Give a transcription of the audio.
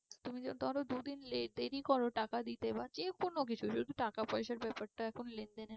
তুমি ধরো দুদিন দেরি করো টাকা দিতে বা যে কোনো কিছু যদি টাকা পয়সার ব্যাপারটা এখন লেন দেনের